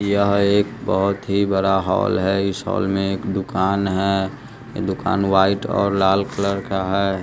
यह एक बहोत ही बड़ा हाल है। इस हॉल में एक दुकान है। दुकान व्हाइट और लाल कलर का है।